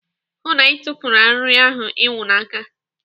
Hụụ na Ị tufuru arịrị ahụ ịnwụ n'aka.